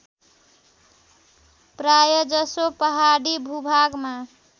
प्रायजसो पहाडी भूभागमा